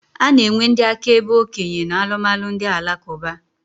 A na-enwe ndị akaebe okenye na alụmalụ ndị Alakụba.